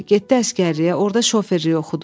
Getdi əsgərliyə, orda şoferlik oxudu.